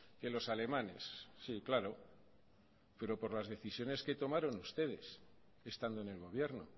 que los alemanes sí claro pero por las decisiones que tomaron ustedes estando en el gobierno o